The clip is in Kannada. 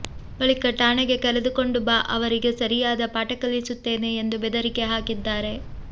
ಬಳಿಕ ಠಾಣೆಗೆ ಕರೆದುಕೊಂಡು ಬಾ ಅವರಿಗೆ ಸರಿಯಾದ ಪಾಠ ಕಲಿಸುತ್ತೇನೆ ಎಂದು ಬೆದರಿಕೆ ಹಾಕಿದ್ದಾರೆ